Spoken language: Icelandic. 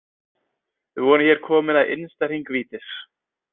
Við vorum hér komin að innsta hring vítis.